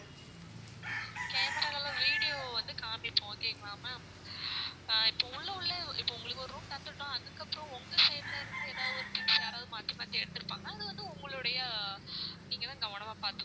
camera ல video வந்து காமிப்போம் okay ங்களா ma'am ஆஹ் இப்போ உள்ள உள்ள இப்போ உங்களுக்கு ஒரு room தந்துட்டோம் அதுக்கப்புறம் உங்க side ல இருந்து ஏதாவது ஒரு things யாராவது மாத்தி மாத்தி எடுத்திருப்பாங்க அது வந்து உங்களுடைய நீங்க தான் கவனமா பாத்துக்கணும்.